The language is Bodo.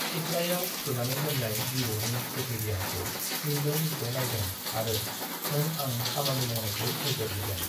सिथ्लायाव फुथुनानै दोन्नाय बिबौनि गोथै देहाखौ मिज्लौ मिज्लौ नाइदों आरो नों आं खामानि मावनायखौ नोजोर होदों।